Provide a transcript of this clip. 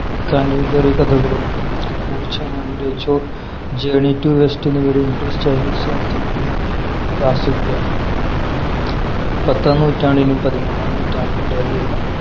canterbury കഥകളും Wu Cheng‍ journey to the west എന്നിവയും English Chinese സാഹിത്യങ്ങളിലെ classic കുകളാണ് പത്താം നൂറ്റാണ്ടിനും പതിമൂന്നാം നൂറ്റാണ്ടിനും ഇടയിലുള്ള